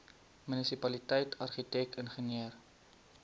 munisipaliteit argitek ingenieur